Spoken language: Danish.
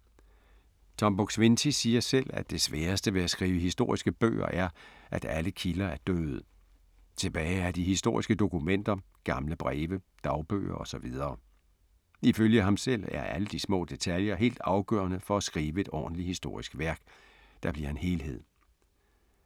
Tom Buk-Swienty siger selv, at det sværeste ved at skrive historiske bøger er, at alle kilder er døde. Tilbage er de historiske dokumenter, gamle breve, dagbøger og så videre. Ifølge ham selv er alle de små detaljer helt afgørende for at skrive et ordentligt historisk værk, der bliver en helhed.